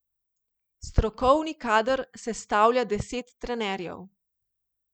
Strokovni kader sestavlja deset trenerjev.